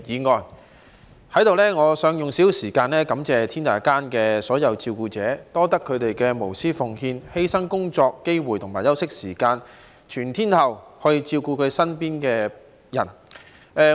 在此，我想用少許時間感謝天下間所有照顧者，感謝他們無私奉獻、犧牲工作機會和休息時間，全天候照顧身邊人。